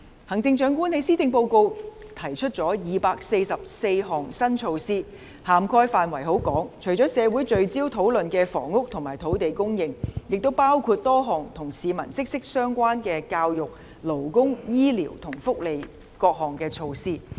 行政長官在施政報告提出了244項新措施，涵蓋範圍甚廣，除社會聚焦討論的房屋和土地供應外，亦包括多項與市民息息相關的教育、勞工、醫療和福利措施。